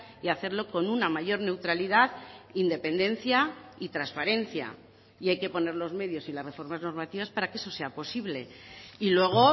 y hacerlo con una mayor neutralidad independencia y transparencia y hay que poner los medios y las reformas normativas para que eso sea posible y luego